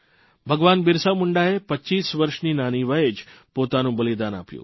ભગવાન બિરસા મુંડાએ 25 વર્ષની નાની વયે જ પોતાનું બલિદાન આપ્યું